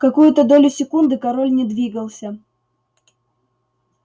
какую-то долю секунды король не двигался